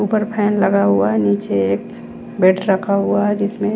ऊपर फैन लगा हुआ है नीचे एक बेड रखा हुआ है जिसमें--